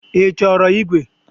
Ị chọrọ ígwè?